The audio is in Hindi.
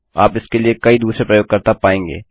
आप इसके लिए कई दूसरे प्रयोगकर्ता पाएँगे